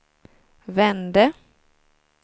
vände